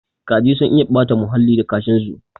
Kaji sun iya ɓata huhalli da kashin su